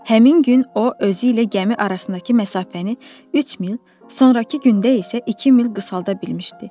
Həmin gün o özü ilə gəmi arasındakı məsafəni 3 mil, sonrakı gündə isə 2 mil qısaldı bilmişdi.